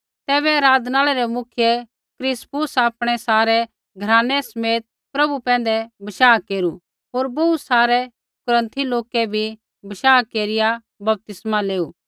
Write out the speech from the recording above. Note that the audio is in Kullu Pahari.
तैबै आराधनालय रै मुख्य क्रिस्पुस आपणै सारै घरानै समेत पभु पैंधै विश्वास केरू होर बोहू सारै कुरन्थी लोकै बी विश्वास केरिया बपतिस्मा लेऊ